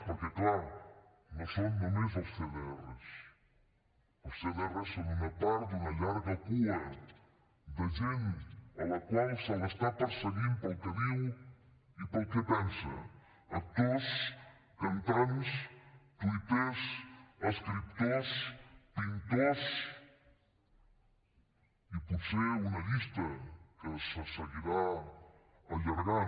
perquè clar no són només els cdrs els cdrs són una part d’una llarga cua de gent a la qual se l’està perseguint per allò que diu i per allò que pensa actors cantants tuitaires escriptors pintors i potser una llista que se seguirà allargant